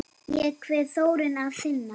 Ég kveð Þórunni að sinni.